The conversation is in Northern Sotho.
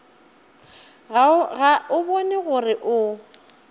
ga o bone gore o